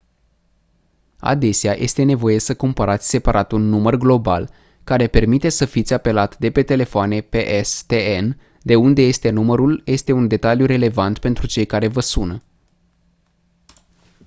adesea este nevoie să cumpărați separat un număr global care permite să fiți apelat de pe telefoane pstn de unde este numărul este un detaliu relevant pentru cei care vă sună